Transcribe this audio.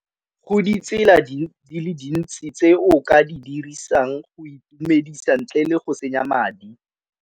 Go ditsela di le dintsi tse o ka di dirisang go itumedisa ntle le go senya madi.